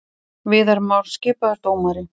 Viðar Már skipaður dómari